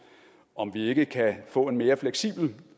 om vi ikke kan få en mere fleksibel